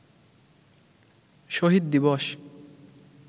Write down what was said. শহীদ দিবস